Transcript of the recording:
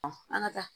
an ka taa